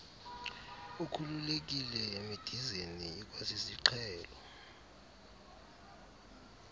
ukhululekile emidizeni ikwasisiqhelo